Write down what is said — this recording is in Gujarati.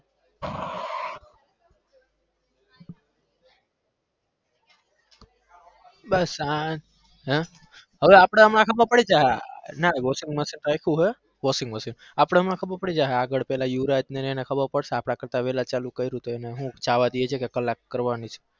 બસ આ હમ હવે આપડે આમાં ખબર પડી જશે ના washing machine આય્પું હે washing machine આપડે હમણાં ખબર પડી જશે આગળ પેલા યુવરાજ ને એને ખબર પડશે આપડા કરતા વેલા ચાલુ કયરું છે તો હુ એને જાવા દે છે કે કલાક કરવાની છે.